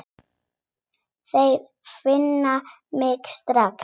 Þeir finna mig strax.